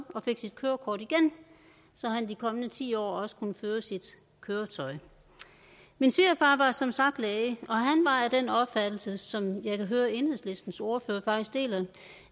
og fik sit kørekort igen så han de kommende ti år også kunne føre sit køretøj min svigerfar var som sagt læge og han var af den opfattelse som jeg kan høre enhedslistens ordfører faktisk deler